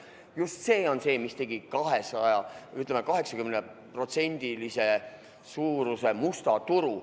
Just see on see, mis tekitas, ütleme, 80% ulatuses musta turu.